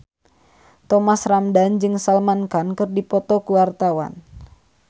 Thomas Ramdhan jeung Salman Khan keur dipoto ku wartawan